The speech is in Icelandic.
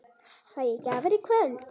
Fæ ég gjafir í kvöld?